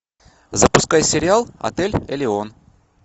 запускай сериал отель элеон